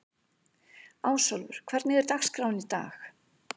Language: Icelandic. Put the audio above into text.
Ásólfur, hvernig er dagskráin í dag?